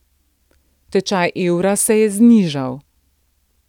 Tečaj evra se je znižal.